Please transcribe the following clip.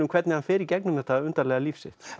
hvernig hann fer í gegnum þetta undarlega líf sitt